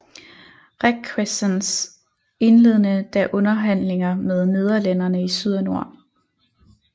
Requesens indledede da underhandlinger med nederlænderne i syd og nord